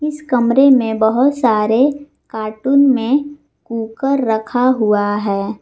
इस कमरे में बहुत सारे कार्टून में कूकर रखा हुआ है।